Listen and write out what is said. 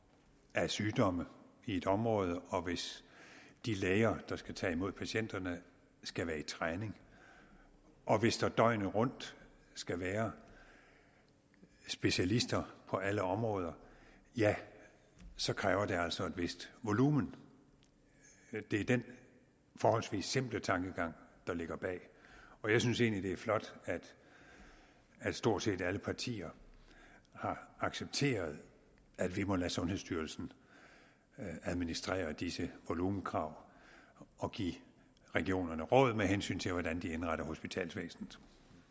af sygdomme i et område og hvis de læger der skal tage imod patienterne skal være i træning og hvis der døgnet rundt skal være specialister på alle områder ja så kræver det altså et vist volumen det er den forholdsvis simple tankegang der ligger bag og jeg synes egentlig det er flot at stort set alle partier har accepteret at vi må lade sundhedsstyrelsen administrere disse volumenkrav og give regionerne råd med hensyn til hvordan de indretter hospitalsvæsenet